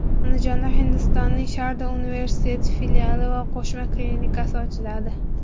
Andijonda Hindistonning Sharda universiteti filiali va qo‘shma klinikasi ochiladi.